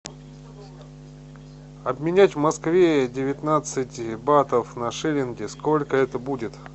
обменять в москве девятнадцать батов на шиллинги сколько это будет